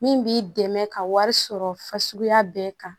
Min b'i dɛmɛ ka wari sɔrɔ fasuguya bɛɛ kan